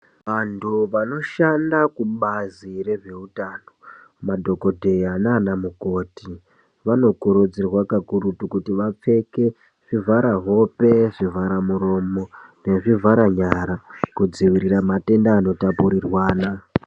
Vantu vanoshanda kubazi rezveutano madokoteya nana mukoti, vanokurudzirwa kakura kuti vapfeke zvivhara hope, zvivhara muromo nezvivhara nyara kudzivirira matenda ano tapurirwana.